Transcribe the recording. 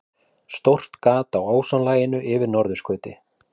Stórt gat á ósonlaginu yfir norðurskauti